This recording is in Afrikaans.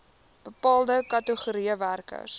bepaalde kategorieë werkers